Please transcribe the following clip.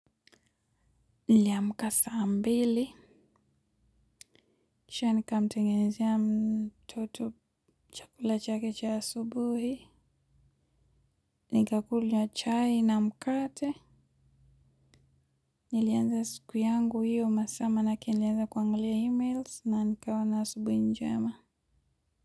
Niliamka saa mbili kisha nikamtengezea mtoto chakula chake cha asubuhi nikakula chai na mkate nilianza siku yangu hiyo masaa manake nilianza kuangalia e-mails na nikawa na asubuhi njema.